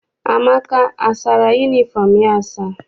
Amaka asara yunifọm ya asa?